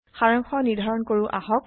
সাৰাংশ নিৰ্ধাৰণ কৰো আহক